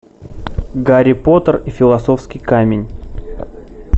гарри поттер и философский камень